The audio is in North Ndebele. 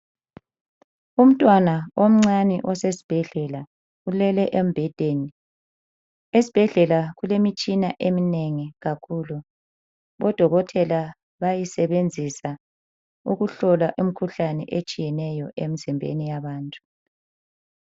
Umntwana. omncane osesibhedlela ulele embhedeni. Esibhedlela kulemitshina eminengi kakhulu, odokotela bayayisebenzisa ukuhlola imikhuhlane etshiyeneyo emizimbeni yabantu.